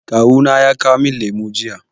Kawu na ya kawo min lemu jiya.